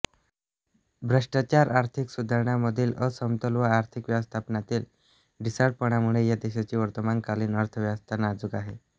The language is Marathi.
भ्रष्टाचार आर्थिक सुधारणांमधील असमतोल व आर्थिक व्यवस्थापनातील ढिसाळपणामुळे या देशाची वर्तमानकालीन अर्थव्यवस्था नाजूक आहे